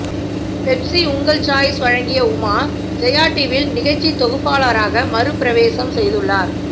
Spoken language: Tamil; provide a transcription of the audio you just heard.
பெப்ஸி உங்கள் சாய்ஸ் வழங்கிய உமா ஜெயா டிவியில் நிகழ்ச்சித் தொகுப்பாளராக மறுபிரவேசம் செய்துள்ளார்